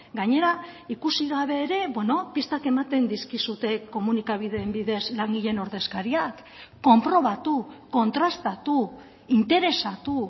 gainera ikusi gabe ere pistak ematen dizkizute komunikabideen bidez langileen ordezkariak konprobatu kontrastatu interesatu